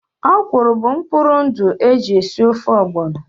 Ọ̀kwụ́rụ́ bụ mkpụrụ ndụ e ji esi ofe ogbono